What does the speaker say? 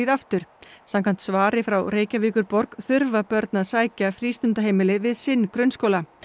aftur samkvæmt svari frá Reykjavíkurborg þurfa börn að sækja frístundaheimili við sinn grunnskóla